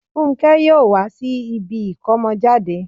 Fúnkẹ́ yóò wá sí ibi ìkómọjáde